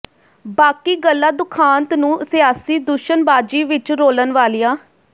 ਬਾਕੀ ਗੱਲਾਂ ਦੁਖਾਂਤ ਨੂੰ ਸਿਆਸੀ ਦੂਸ਼ਣਬਾਜ਼ੀ ਵਿਚ ਰੋਲਣ ਵਾਲੀਆਂ